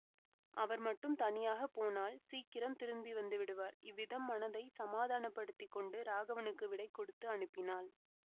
அவர் மட்டும் தனியாகப் போனால் சீக்கிரம் திரும்பி வந்துவிடுவார் இவ்விதம் மனதைச் சமாதானப்படுத்தி கொண்டு ராகவனுக்கு விடை கொடுத்து அனுப்பினாள்